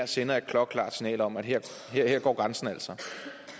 sender et klokkeklart signal om at her går grænsen altså